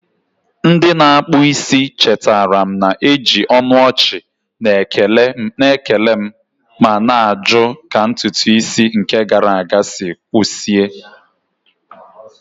Ndị na-akpụ isi chetara m, na-eji ọnụ ọchị na-ekele m ma na-ajụ ka ntutu isi nke gara aga si kwụsie